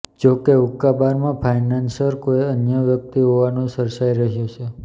જોકે હુક્કાબારમાં ફાઇનાન્સર કોઇ અન્ય વ્યક્તિ હોવાનુ ચર્ચાઇ રહ્યુ છે